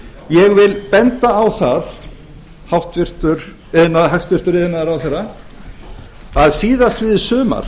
ég vil benda á það hæstvirtur iðnaðarráðherra að síðastliðið sumar